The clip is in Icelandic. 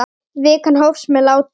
Vikan hófst með látum.